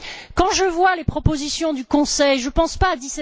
Quand je vois les propositions du Conseil, je ne pense pas à